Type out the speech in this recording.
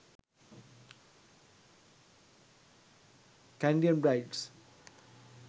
kandyan brides